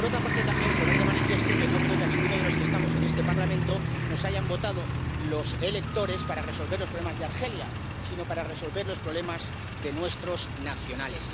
Por otra parte también, quiero poner de manifiesto que no creo que a ninguno de los que estamos en este Parlamento nos hayan votado los electores para resolver los problemas de Argelia, sino para resolver los problemas de nuestros nacionales.